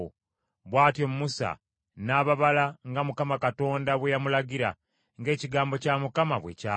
Bw’atyo Musa n’ababala nga Mukama Katonda bwe yamulagira, ng’ekigambo kya Mukama bwe kyali.